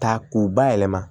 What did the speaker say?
Ta k'u bayɛlɛma